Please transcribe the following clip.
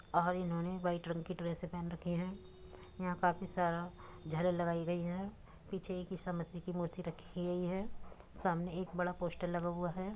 और इन्होने वाइट रंग की ड्रेसे पहन रखी हैं। यहां काफी सारा झालर लगाई गयी है पीछे एक ईसा मसीह की मूर्ति रखी गयी है सामने एक बड़ा पोस्टर लगा हुआ है।